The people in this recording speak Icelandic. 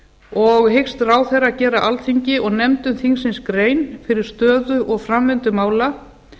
og hyggst ráðherra gera alþingi og nefndum þingsins grein fyrir stöðu og framvindu mála